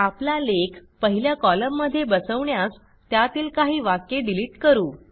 आपला लेख पहिल्या कॉलममध्ये बसवण्यास त्यातील काही वाक्ये डिलिट करू